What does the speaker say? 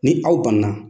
Ni aw banna